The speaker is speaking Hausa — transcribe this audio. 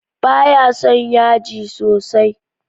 Ba ya son yaji sosai.